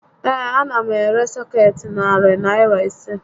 Ee, a na m ere sọkeetị Narị Naịra ise